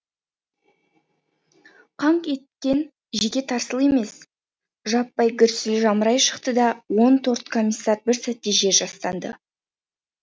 қаңқ еткен жеке тарсыл емес жаппай гүрсіл жамырай шықты да он торт комиссар бір сәтте жер жастанды